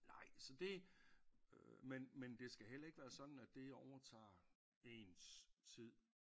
Nej så det øh men men det skal heller ikke være sådan at det overtager ens tid